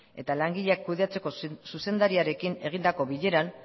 eta langileak kudeatzeko zuzendariarekin egindako bileran